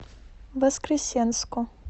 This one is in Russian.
воскресенску